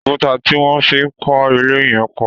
Òkúta tí wọ́n fi kọ ilé yẹn pọ̀.